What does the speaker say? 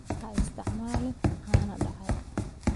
Ha isticmaalin caano dhacay.